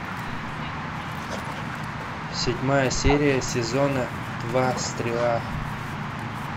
седьмая серия сезона два стрела